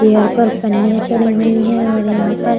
chair पर पन्नीया चढ़ी हुई है और यहां पर --